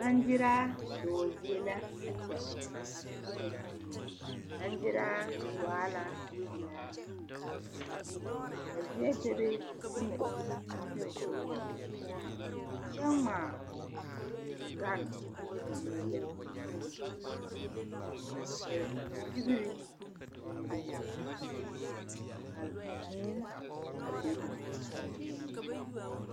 Baŋgyeraa dɔɔ zie la a kyɛ. Baŋgyeraa waa la pelaa. Ka zie bebe ka fo na iri a pɛge fo nu, kyɛ ŋmaa gane a meele ne fo pare ka figiri meŋ bebe, kal vūū a bebe meŋ.